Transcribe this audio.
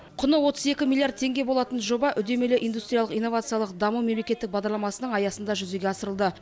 құны отыз екі миллиард теңге болатын жоба үдемелі индустриялық инновациялық даму мемлекеттік бағдарламасының аясында жүзеге асырылды